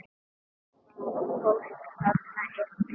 Það var fólk þarna inni!